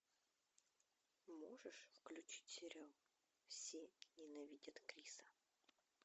можешь включить сериал все ненавидят криса